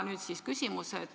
" Nüüd siis küsimus.